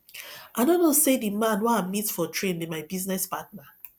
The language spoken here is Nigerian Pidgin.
i no know say the man wey i meet for train be my business partner